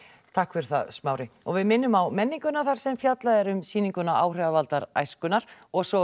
takk fyrir það Smári við minnum á menninguna þar sem fjallað er um sýninguna áhrifavaldar æskunnar og svo